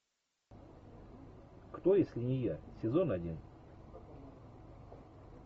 кто если не я сезон один